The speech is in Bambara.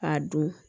A don